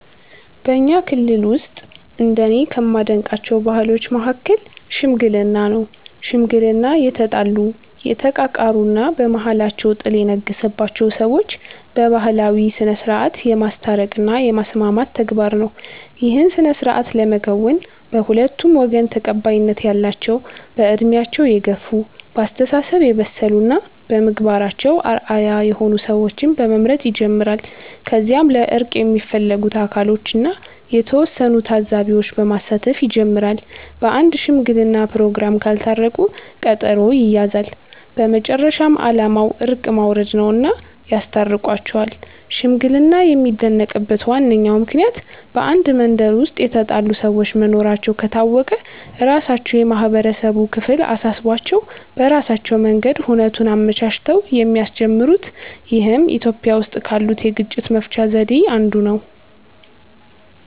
በኛ ክልል ውስጥ እንደኔ ከማደንቃቸው ባህሎች መሀከል "ሽምግልና" ነው። ሽምግልና የተጣሉ፣ የተቃቃሩ እና በመሃላቸው ጥል የነገሰባቸውን ሰዎች በባህላዊ ስነስርዓት የማስታረቅ እና የማስማማት ተግባር ነው። ይህን ስነስርዓት ለመከወን በሁለቱም ወገን ተቀባይነት ያላቸው በእድሜያቸው የገፍ፣ በአስተሳሰብ የበሰሉ እና በምግባራቸው አርአያ የሆኑ ሰዎችን በመምረጥ ይጀምራል። ከዚያም ለእርቅ የሚፈለጉት አካሎችን እና የተወሰኑ ታዛቢዎች በማሳተፍ ይጀመራል። በአንድ ሽምግለና ፕሮግራም ካልታረቁ ቀጠሮ ይያያዛል። በመጨረሻም አላማው እርቅ ማውረድ ነውና ያስታርቋቸዋል። ሽምግልና የሚደነቅበት ዋነኛው ምክንያት በአንድ መንደር ውስጥ የተጣሉ ሰዎች መኖራቸው ከታወቀ ራሳቸው የማህበረሰቡ ክፍል አሳስቧቸው በራሳቸው መንገድ ሁነቱን አመቻችተው የሚያስጀምሩት ይህም ኢትዮጵያዊ ውስጥ ካሉት የግጭት መፍቻ ዘዴ ነው።